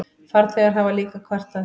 Farþegar hafa líka kvartað.